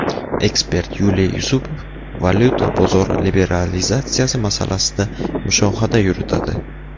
Ekspert Yuliy Yusupov Valyuta bozori liberalizatsiyasi masalasida mushohada yuritadi.